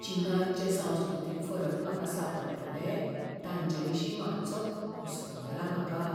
चीनांत जे संस्कृतीक फरक म्हाका सांपडटले तांचेविशीं मातसो हुसको जाला म्हाका.